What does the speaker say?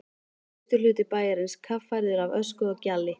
Austurhluti bæjarins kaffærður af ösku og gjalli.